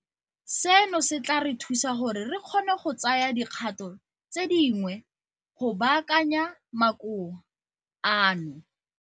Seno se tla re thusa gore re kgone go tsaya dikgato tse dingwe go baakanya makoa ano.